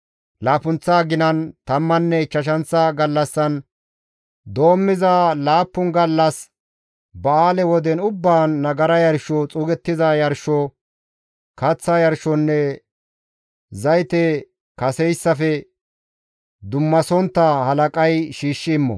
« ‹Laappunththa aginan, tammanne ichchashanththa gallassan doommiza laappun gallas ba7aale woden ubbaan, nagara yarsho, xuugettiza yarsho, kaththa yarshonne zayte kaseyssafe dummasontta halaqay shiishshi immo.